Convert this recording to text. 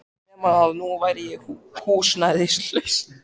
Nema að nú var ég húsnæðislaus.